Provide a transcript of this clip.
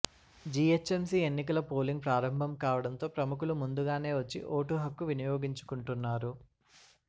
GHMC ఎన్నికల polling ప్రారభం కావడంతో ప్రముఖులు ముందుగానే వచ్చి ఓటు హక్కు వినియోగించుకుంటున్నారు